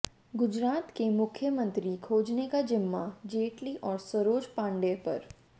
गुजरात का मुख्यमंत्री खोजने का जिम्मा जेटली और सरोज पांडेय पर